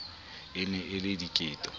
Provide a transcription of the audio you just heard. e ne e le diketo